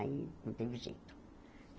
Aí não teve jeito.